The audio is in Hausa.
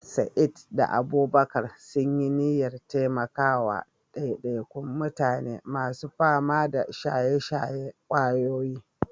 Sa'id da Abubakar sun yi niyyar taimaka wa ɗaiɗaikun mutane masu fama da shaye-shayen ƙwayoyi.